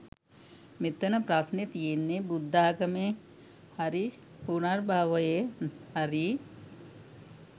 මෙතන ප්‍රශ්නෙ තියෙන්නේ බුද්ධාගමේ හරි පුනර්භවයේ හරි